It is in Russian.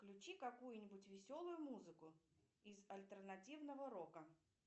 включи какую нибудь веселую музыку из альтернативного рока